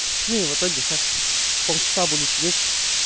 но и в итоге сейчас полчаса буду сидеть